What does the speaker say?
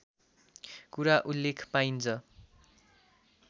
कुरा उल्लेख पाइन्छ